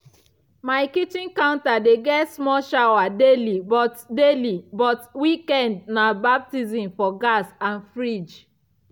my kitchen counter dey get small shower daily but daily but weekend na baptism for gas and fridge.